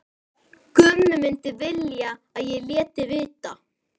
Gummi myndi vilja að ég léti vita.